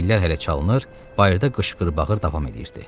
Təbillər hələ çalınır, bayırda qışqır-bağır davam eliyirdi.